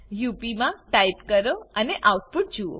UP મા type કરો અને આઉટપુટ જુઓ